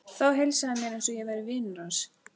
Þá heilsaði hann mér eins og ég væri vinur hans.